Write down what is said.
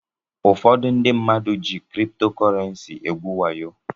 Ụfọdụ mmadụ jị kripto kọrensi egwu wayo.